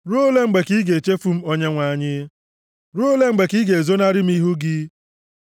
Ruo ole mgbe ka i ga-echefu m Onyenwe anyị? Ruo ole mgbe ka i ga-ezonarị m ihu gị? + 13:1 \+xt Job 13:24; Abụ 89:46\+xt*